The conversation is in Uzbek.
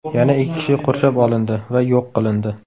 Yana ikki kishi qurshab olindi va yo‘q qilindi.